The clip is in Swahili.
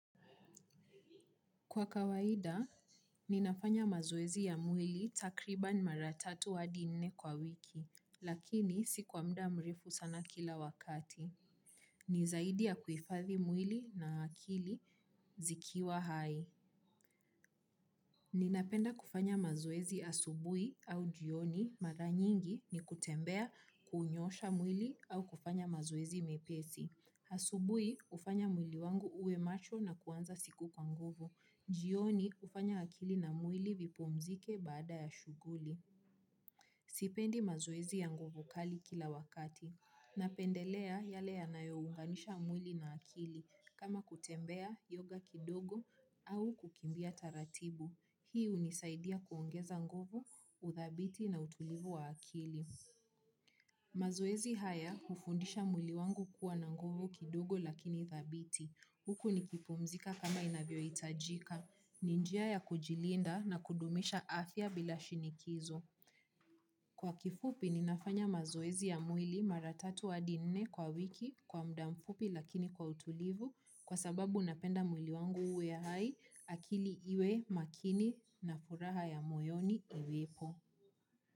Kwa kawaida, ninafanya mazoezi ya mwili takribani mara tatu hadi nne kwa wiki, lakini si kwa mda mrefu sana kila wakati. Nizaidi ya kuifathi mwili na hakili zikiwa hai. Ninapenda kufanya mazoezi asubui au jioni mara nyingi ni kutembea kuunyosha mwili au kufanya mazoezi mepesi. Asubui ufanya mwili wangu uwe macho na kuanza siku kwa nguvu. Jioni ufanya akili na mwili vipumzike baada ya shuguli. Sipendi mazoezi ya nguvu kali kila wakati. Napendelea yale yanayounganisha mwili na akili kama kutembea yoga kidogo au kukimbia taratibu. Hii unisaidia kuongeza nguvu, uthabiti na utulivu wa akili. Mazoezi haya ufundisha mwili wangu kuwa na nguvu kidogo lakini thabiti. Huku nikipumzika kama inavyo itajika. Ni njia ya kujilinda na kudumisha afya bila shinikizo. Kwa kifupi ninafanya mazoezi ya mwili mara tatu hadi nne kwa wiki kwa mdamfupi lakini kwa utulivu kwa sababu napenda mwili wangu uwe hai akili iwe makini na furaha ya moyoni iwepo.